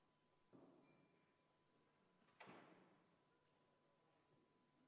Muudatusettepaneku nr 3 on esitanud juhtivkomisjon.